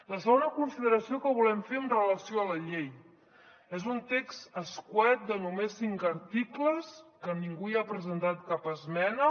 la segona consideració que volem fer amb relació a la llei és un text concís de només cinc articles que ningú hi ha presentat cap esmena